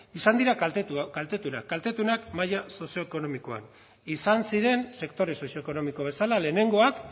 izan dira kaltetuenak kaltetuenak maila sozioekonomikoan izan ziren sektore sozioekonomiko bezala lehenengoak